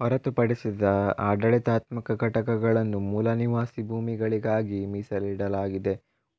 ಹೊರತು ಪಡಿಸಿದ ಆಡಳಿತಾತ್ಮಕ ಘಟಕಗಳನ್ನು ಮೂಲನಿವಾಸಿ ಭೂಮಿಗಳಿಗಾಗಿ ಮೀಸಲಿಡಲಾಗಿದೆ